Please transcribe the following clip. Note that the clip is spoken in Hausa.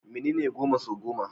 Menene goma sau goma?